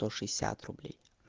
то шестьдесят рублей